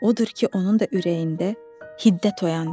Odur ki, onun da ürəyində hiddət oyandı.